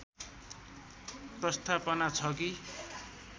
प्रस्थापना छ कि